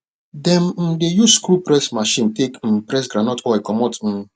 dem um dey use screw press machine take um press groundnut oil comot um